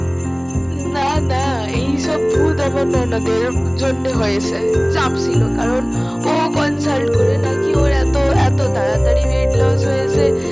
না না এইসব ভুল ভেবোনা এর জন্য হয়েছে চাপ ছিল কারণ ও consult নাকি ও এতো তাড়াতড়ি ওয়াইট লস হয়েছে